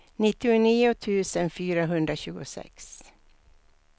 nittionio tusen fyrahundratjugosex